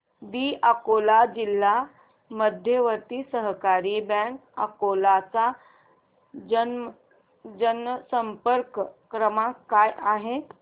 दि अकोला जिल्हा मध्यवर्ती सहकारी बँक अकोला चा जनसंपर्क क्रमांक काय आहे